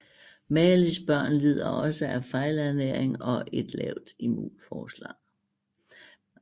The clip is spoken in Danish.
Malis børn lider også af fejlernæring og en lavt immunforsvar